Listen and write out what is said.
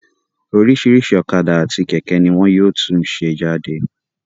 Oríṣìíríṣìí ọ̀kadà àti kẹ̀kẹ́ ní wọn yóò tún ṣe jáde.